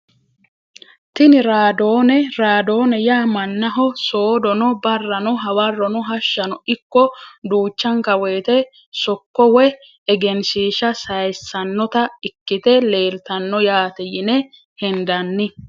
Tini raadone raadone yaa manaho soodono barrano hawarono hashano ikko duuchanka woyite sokko woyi egenshiisha sayisanota ikite leeltano yaate yine hendani.